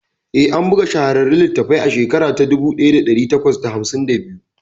Eh, an buga shahararren littafin a shekara ta dubu daya dari takwas da hamsin da biyu